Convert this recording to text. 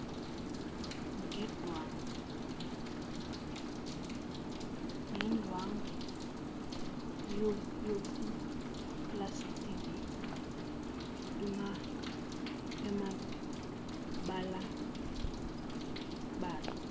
ngendwangu yepulasitiki emabalabala